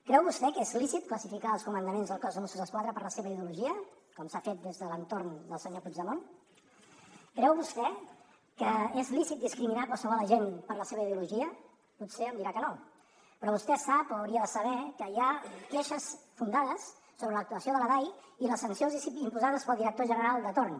creu vostè que és lícit classificar els comandaments del cos de mossos d’esquadra per la seva ideologia com s’ha fet des de l’entorn del senyor puigdemont creu vostè que és lícit discriminar qualsevol agent per la seva ideologia potser em dirà que no però vostè sap o hauria de saber que hi ha queixes fundades sobre l’actuació de la dai i les sancions imposades pel director general de torn